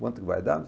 Quanto vai dar?